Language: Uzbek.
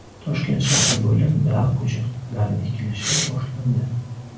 Toshkent shahri bo‘ylab daraxt ko‘chatlari ekilishi boshlandi .